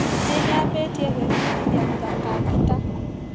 Nĩnyambĩtie kwĩbundithia gũthaka ngita.